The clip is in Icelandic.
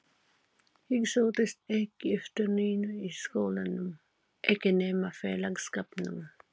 Ég sóttist ekki eftir neinu í skólanum, ekki nema félagsskapnum.